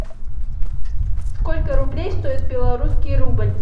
сколько рублей стоит белорусский рубль